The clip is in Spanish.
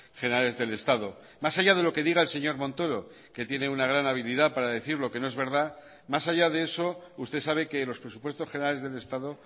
generales del estado más allá de lo que diga el señor montoro que tiene una gran habilidad para decir lo que no es verdad más allá de eso usted sabe que los presupuestos generales del estado